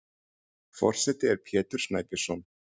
Forseti er Pétur Snæbjörnsson.